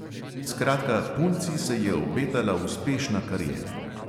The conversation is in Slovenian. Skratka, punci se je obetala uspešna kariera.